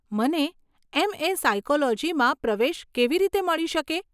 મને એમ.એ. સાયકોલોજીમાં પ્રવેશ કેવી રીતે મળી શકે?